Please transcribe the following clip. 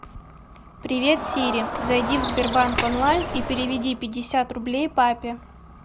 привет сири зайди в сбербанк онлайн и переведи пятьдесят рублей папе